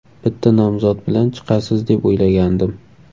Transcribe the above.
Bitta nomzod bilan chiqasiz deb o‘ylagandim.